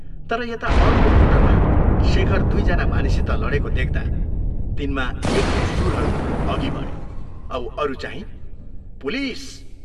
तर यता अर्को मोटरमा शेखर दुइ जना मानिससित लडेको देख्दा तिनमा एक दुइ शूरहरू अघि बढे औ अरूचाहिं " पुलिस!